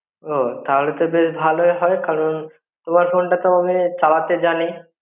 ও তাহলে তো বেশ ভালোই হয় কারণ তোমার ফোনটা তো আমি চালাতে জানি